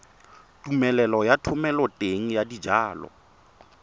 tumelelo ya thomeloteng ya dijalo